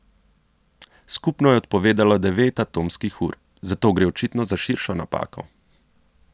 Skupno je odpovedalo devet atomskih ur, zato gre očitno za širšo napako.